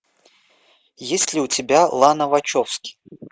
есть ли у тебя лана вачовски